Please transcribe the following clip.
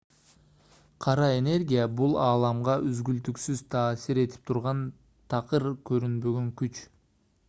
кара энергия бул ааламга үзгүлтүксүз таасир этип турган такыр көрүнбөгөн күч